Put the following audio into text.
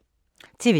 TV 2